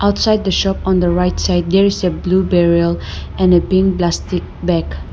outside the shop on the right side there is a blue berrial and a pink plastic bag.